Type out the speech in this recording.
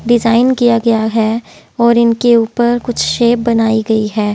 Design किया गया है और इनके ऊपर कुछ शेप बनाई गई है।